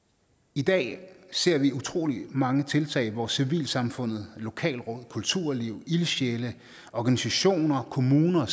i dag ser vi utrolig mange tiltag hvor civilsamfundet lokalråd kulturliv ildsjæle organisationer og kommuner